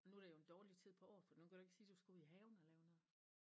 Nu er det jo en dårlig tid på året for nu kan du ikke sige du skal ud i haven og lave noget